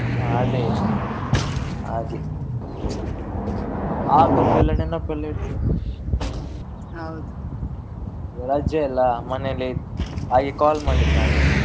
ಅದೇ ಹಾಗೆ ಆಗದೆಲ್ಲ ನೆನಪೆಲ್ಲ ಇರ್ತದೆ ಈಗ ರಜೆ ಅಲ್ಲ ಮನೆಯಲ್ಲಿ ಹಾಗೆ call ಮಾಡಿದ್ದು ನಾನು ನಿನ್ಗೆ.